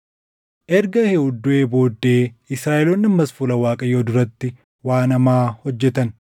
Erga Eehuud duʼee booddee Israaʼeloonni ammas fuula Waaqayyoo duratti waan hamaa hojjetan.